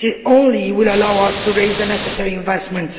Only this will allow us to raise the necessary investment.